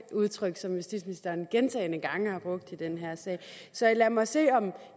udtryk som justitsministeren gentagne gange har brugt i den her sag så lad mig se om